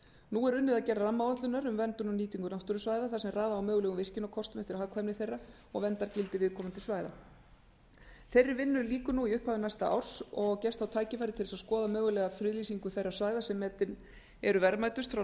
nú er unnið að gerð rammaáætlunar um verndun og nýtingu náttúrusvæða þar sem raða á mögulegum virkjunarkostum eftir hagkvæmni þeirra og verndargildi viðkomandi svæða þeirri vinnu lýkur í upphafi næsta árs og gefst þá tækifæri til þess að skoða mögulega friðlýsingu þeirra svæða sem metin eru verðmætust frá